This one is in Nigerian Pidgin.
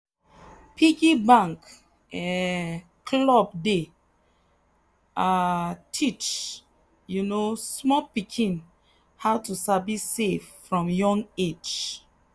piggy bank um club dey um teach um small pikin how to sabi save from young age.